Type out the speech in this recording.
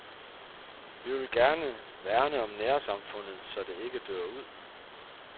Vi vil gerne værne om nærsamfundet, så det ikke dør ud.